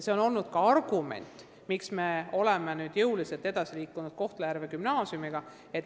See on olnud ka üks argument, miks me oleme jõuliselt edasi liikunud Kohtla-Järve gümnaasiumiga.